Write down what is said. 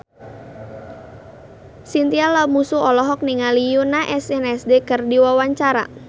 Chintya Lamusu olohok ningali Yoona SNSD keur diwawancara